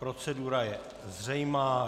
Procedura je zřejmá.